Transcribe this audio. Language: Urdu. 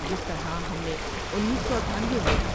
جس طرح ہم نے انیس سو اٹھانوے میں ۔